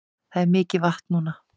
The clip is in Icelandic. Það er mikið vatn núna